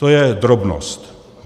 To je drobnost.